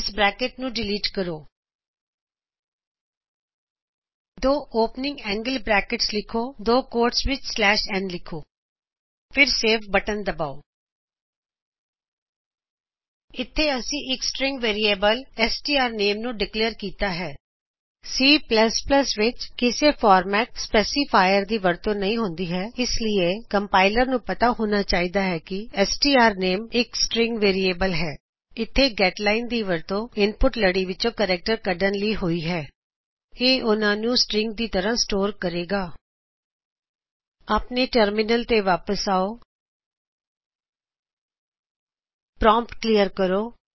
ਇਸ ਬਰੇਕਟ ਨੂੰ ਡਿਲੀਟ ਕਰੋ ਦੋ ਖੁੱਲਇਆ ਏੰਗ੍ਲ ਬਰੇਕਟਸ ਲਿਖੋ ਅਤੇ ਦੋ ਕੌਟਸ ਵਿੱਚ ਸਲੈਸ਼ ਐਨ ਨ ਲਿਖੋ ਅਤੇ ਸੇਵ ਦਬਾਓ ਇਥੇ ਅਸੀਂ ਇਕ ਸ੍ਟ੍ਰਿੰਗ ਵੇਰਿਏਬਲ ਸਟਰਨੇਮ ਨੂੰ ਡਿਕਲੇਅਰ ਕੀਤਾ ਹੈ C ਵਿੱਚ ਕਿਸੇ ਫੌਰਮੈਟ ਸਪੈਸਿਫਾਇਰ ਦੀ ਵਰਤੋ ਨਹੀ ਹੁੰਦੀ ਹੈ ਇਸ ਲਈ ਕੰਪਾਈਲਰ ਨੂ ਪਤਾ ਹੋਣਾ ਚਾਹੀਦਾ ਹੈ ਕਿ ਸਟਰਨੇਮ ਇਕ ਸ੍ਟ੍ਰਿੰਗ ਵੇਰਿਏਬਲ ਹੈ ਇਥੇ ਗੇਟਲਾਈਨ ਗੈਟਲਾਇਨ ਦੀ ਵਰਤੋ ਇਨਪੁਟ ਲੜੀ ਵਿੱਚੋ ਕਰੇਕਟਰ ਕਢ਼ਣ ਲਈ ਹੋਈ ਹੈ ਇਹ ਓਹਨਾ ਨੂੰ ਸ੍ਟ੍ਰਿੰਗ ਦੀ ਤਰਹ ਸਟੋਰ ਕਰੇਗਾ ਆਪਣੇ ਟਰਮਿਨਲ ਤੇ ਵਾਪਿਸ ਆਓ ਪ੍ਰੋਮਪੱਟ ਕਲਿਅਰ ਕਰੋ